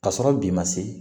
Ka sɔrɔ bi ma se